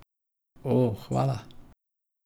O, hvala.